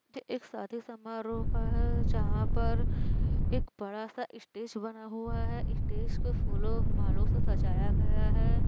एक शादी समारोह का हैजहाँ पर एक बड़ा सा स्टेज बना हुआ है स्टेज को फूलो और मालो से सजाया गया है।